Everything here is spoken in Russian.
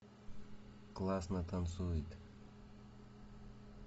классно танцует